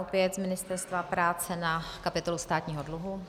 Opět z Ministerstva práce na kapitolu státního dluhu.